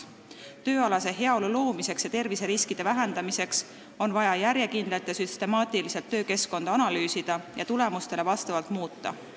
Tööalase heaolu loomiseks ja terviseriskide vähendamiseks on vaja järjekindlalt ja süstemaatiliselt töökeskkonda analüüsida ja tulemustele vastavalt muuta.